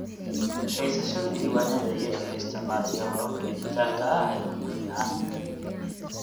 Haysashada diiwaanada iyadoo la isticmaalayo hababka dhijitaalka ah ayaa ugu fiican.